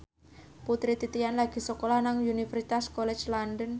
Putri Titian lagi sekolah nang Universitas College London